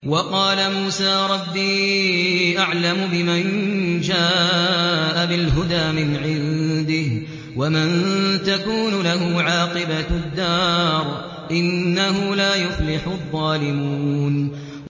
وَقَالَ مُوسَىٰ رَبِّي أَعْلَمُ بِمَن جَاءَ بِالْهُدَىٰ مِنْ عِندِهِ وَمَن تَكُونُ لَهُ عَاقِبَةُ الدَّارِ ۖ إِنَّهُ لَا يُفْلِحُ الظَّالِمُونَ